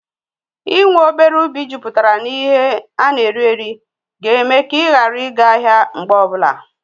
Ị́ nwe obere ubi jupụtara na ihe ana eri eri ga-eme ka Ị́ ghara ị ga ahịa mgbe ọbụla